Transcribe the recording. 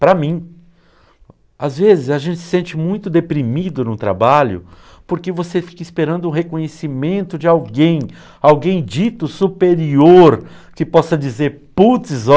Para mim, às vezes a gente se sente muito deprimido no trabalho porque você fica esperando o reconhecimento de alguém, alguém dito superior, que possa dizer, putz, ó...